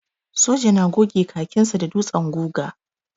Soja na goge kakinsa da ɗutsen guga.